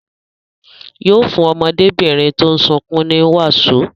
Yóò fún ọmọdébìnrin tó ń sunkún ní wàsó.